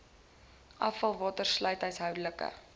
afvalwater sluit huishoudelike